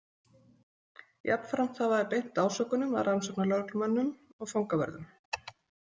Jafnframt hafa þeir beint ásökunum að rannsóknarlögreglumönnum og fangavörðum.